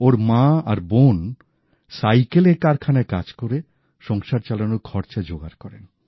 ওঁর মা আর বোন সাইকেলের কারখানায় কাজ করে সংসার চালানোর খরচা জোগাড় করেন